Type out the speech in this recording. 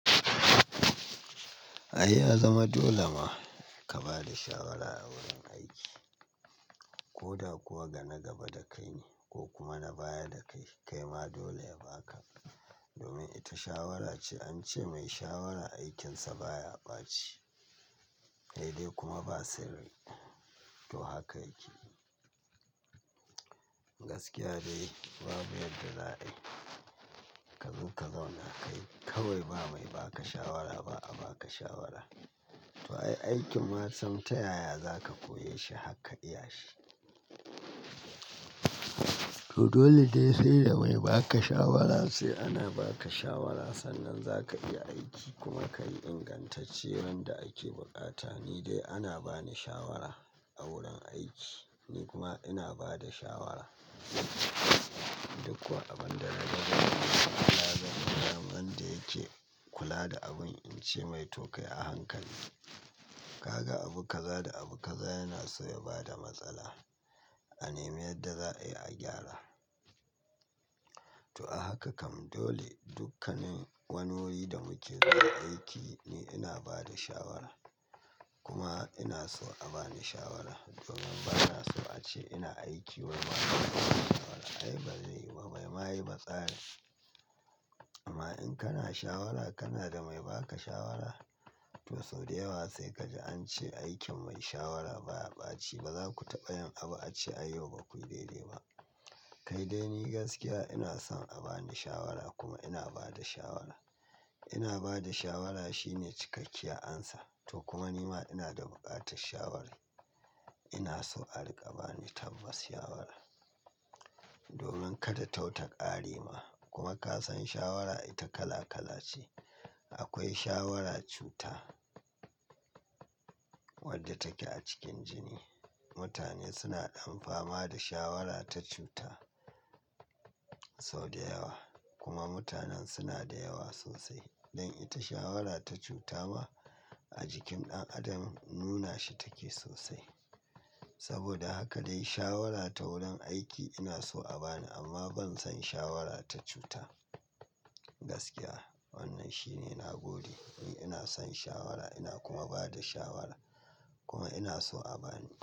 Ai ya zama dole ma ka ba da shawara a wurin aiki. Ko da kuwa ga na gaba da kai ne ko kuma na baya da kai, kai ma dole ya ba ka. Domin ita shawara ce, an ce mai shawara aikinsa baya ɓaci, sai dai kuma ba sirri. To haka yake. Gaskiya dai babu yadda za a yi. Ka zo ka zauna kai kawai ba mai ba ka shawara ba, a ba ka shawara. To ai, aikin ma sam ta yaya za ka koye shi har ka iya shi. To dole dai sai da mai ba ka shawara sai ana ba ka shawara sannan za ka iya aiki kuma ka yi ingantacce wanda ake buƙata. Ni dai ana ba ni shawara a wurin aiki, ni kuma ina ba da shawara. Duk kuwa abin da na ganin ba Allah zai nyam wanda yake kula da abun, in ce mai tokai a hankali. Kaga abu kaza da abu kaza yana so ya bada matsala. A nemi yadda za a yi a gyara. To a haka kam dole dukkanin wani wuri da muke zuwa aiki, ni ina ba da shawara kuma ina so a ba ni shawara. Domin ba na so a ce ina aiki wai ba na so inyi shawara. Ai bazai yiwu ba, bai ma yi ba tsarin. Amma in kana shawara kana da mai ba ka shawara. To sau da yawa sai kaji an ce aikin mai shawara baya ɓaci, ba za ku taɓa yin abu a ce ai yau bakuyi dai dai ba. Kai dai ni gaskiya ina son a ba ni shawara kuma ina ba da shawara. Ina ba da shawara shine cikakkiyar amsa. To kuma ni ma ina da buƙatar shawara. Ina so a riƙa ba ni tabbas shawara. Domin kada tau taƙarema kuma ka san shawara ita kala kala ce. Akwai shawara cuta wadda take a cikin jini. Mutane suna ɗamfama da shawara ta cuta sau da yawa kuma mutanen suna da yawa sosai. Don ita shawara ta cuta ma a jikin ɗan adam nuna shi take sosai. Saboda haka dai shawara ta wurin aiki ina so a ba ni amma ban san shawara ta cuta. Gaskiya wannan shine na gode ni ina son shawara ina kuma ba da shawara kuma ina so a ba ni.